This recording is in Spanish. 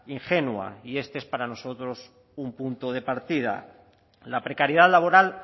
ingenua y este es para nosotros un punto de partida la precariedad laboral